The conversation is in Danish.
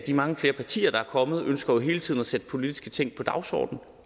mange flere partier der er kommet ønsker jo hele tiden at sætte politiske ting på dagsordenen